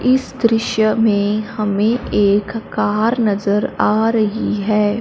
इस दृश्य में हमें एक कार नजर आ रही है।